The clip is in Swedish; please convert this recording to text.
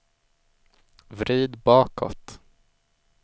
vrid bakåt